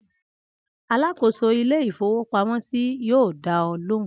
Alákòóso ilé-ìfowópamọ́sí yóò dá ọ lóhùn!